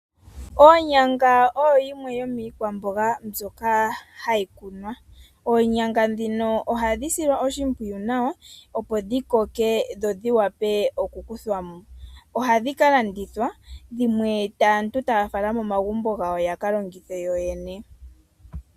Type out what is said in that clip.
Oonyanga oyo yimwe yomiikwamboga mbyoka hayi kunwa. Oonyanga ndhino ohadhi silwa oshimpwiyu nawa opo dhi koke dho dhivule oku kuthwamo. Ohadhi kalandithwa dhimwe aantu taya fala momagumbo gawo yakalongithe yoyene.